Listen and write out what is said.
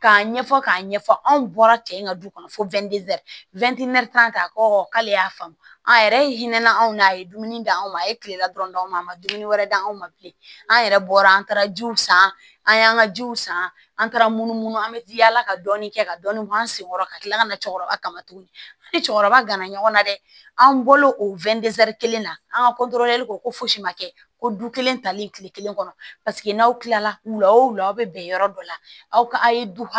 K'a ɲɛfɔ k'a ɲɛfɔ anw bɔra cɛ in ka du kɔnɔ fɔ ta ko k'ale y'a faamu an yɛrɛ ye hinɛ anw na a ye dumuni di anw ma a ye kilela dɔrɔnw a ma dumuni wɛrɛ di an ma bilen an yɛrɛ bɔra an taara jiw san an y'an ka jiw san an taara munu an bɛ jila ka dɔɔni kɛ ka dɔɔni bɔ an sen kɔrɔ ka tila ka na cɛkɔrɔba kama tuguni ni cɛkɔrɔba gana ɲɔgɔnna dɛ an bɔ o kelen na an ka ko fosi ma kɛ ko du kelen talen kile kelen kɔnɔ paseke n'aw kilala wula o wula aw be bɛn yɔrɔ dɔ la aw ka a' ye du